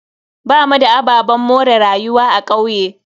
Bamu da ababen more rayuwa a kauye.